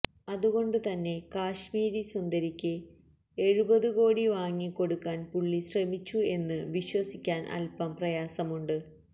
അതുകൊണ്ട് തന്നെ കാശ്മീരി സുന്ദരിക്ക് എഴുപതു കോടി വാങ്ങി കൊടുക്കാന് പുള്ളി ശ്രമിച്ചു എന്ന് വിശ്വസിക്കാന് അല്പം പ്രയാസമുണ്ട്